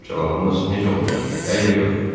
Cavabınız necə olacaq: hə ya yox?